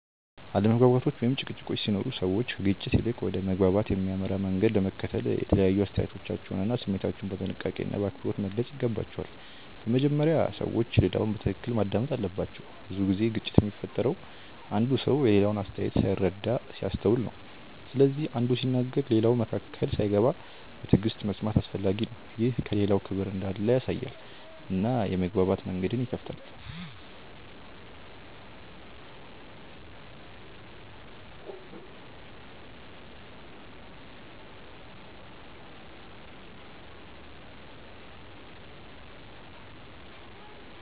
አለመግባባቶች ወይም ጭቅጭቆች ሲኖሩ ሰዎች ከግጭት ይልቅ ወደ መግባባት የሚያመራ መንገድ ለመከተል የተለያዩ አስተያየቶቻቸውን እና ስሜታቸውን በጥንቃቄና በአክብሮት መግለጽ ይገባቸዋል። በመጀመሪያ ሰዎች ሌላውን በትክክል ማዳመጥ አለባቸው። ብዙ ጊዜ ግጭት የሚፈጠረው አንዱ ሰው የሌላውን አስተያየት ሳይረዳ ሲያስተውል ነው። ስለዚህ አንዱ ሲናገር ሌላው መካከል ሳይገባ በትዕግሥት መስማት አስፈላጊ ነው። ይህ ለሌላው ክብር እንዳለ ያሳያል እና የመግባባት መንገድን ይከፍታል.